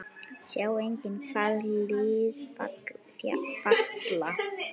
Sjá einnig: Hvaða lið falla?